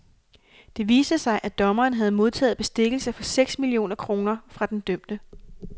Det viste sig, at dommeren havde modtaget bestikkelse for seks millioner kroner fra den dømte.